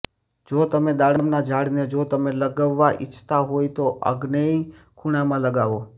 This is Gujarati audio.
જો તમે દાડમના ઝાડને જો તમે લગાવવા ઈચ્છતા હોય તો આગ્નેય ખુણામાં લગાવો